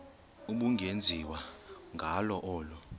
ubungenziwa ngalo olu